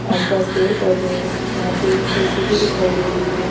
आसपास पेड़ पौधे है वहां पे जे_सी_बी दिखाई दे रही है।